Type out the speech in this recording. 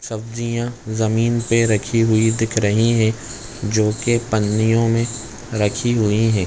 सब्जियाँ जमीन पे रखी हुई दिख रही है जोकि पन्नीयों में रखी हुई हैं ।